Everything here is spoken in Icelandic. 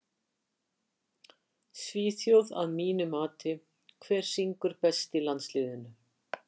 Svíþjóð að mínu mati Hver syngur best í landsliðinu?